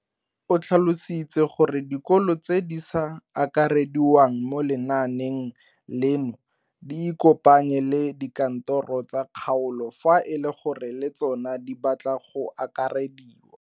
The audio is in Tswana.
O tlhalositse gore dikolo tse di sa akarediwang mo lenaaneng leno di ikopanye le dikantoro tsa kgaolo fa e le gore le tsona di batla go akarediwa.